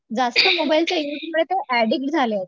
जास्त मोबाइल चा यूज मुळे ते अॅडिक्त झाले आहेत